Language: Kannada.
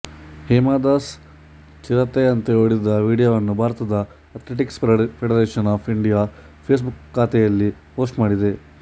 ಹೇಮಾ ದಾಸ್ ಚಿರತೆಯಂತೆ ಓಡಿದ ವಿಡಿಯೋವನ್ನು ಭಾರತದ athletics federation of India Facebook ಖಾತೆಯಲ್ಲಿ ಪೋಸ್ಟ್ ಮಾಡಿದೆ